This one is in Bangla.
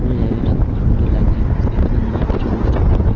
পুরো জায়গাটা খুব সুন্দর লাগছে এখানে মনে হয় কিছু অনুষ্ঠান হবে।